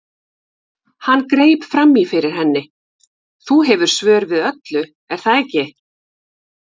Hann greip fram í fyrir henni: Þú hefur svör við öllu, er það ekki?